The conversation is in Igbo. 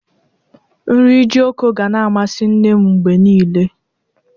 Nri jiloko gana-amasi nne m mgbe niile.